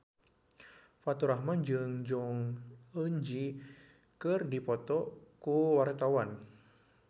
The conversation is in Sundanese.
Faturrahman jeung Jong Eun Ji keur dipoto ku wartawan